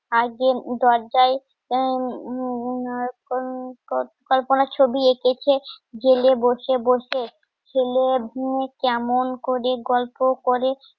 দরজাই উম কত কল্পনার ছবি আর যে দরজায় কল্পনা ছবি এঁকেছে জেলে বসে বসে ছেলে উম কেমন করে গল্প করে